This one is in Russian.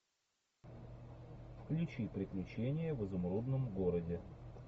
включи приключения в изумрудном городе